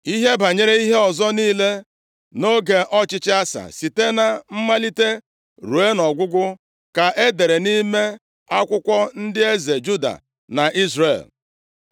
Ihe banyere ihe ọzọ niile nʼoge ọchịchị Asa, site na mmalite ruo ọgwụgwụ ka e dere nʼime akwụkwọ ndị eze Juda na Izrel.